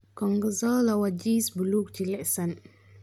Gorgonzola waa jiis buluug jilicsan.